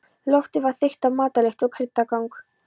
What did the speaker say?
Loftið var þykkt af matarlykt og kryddangan.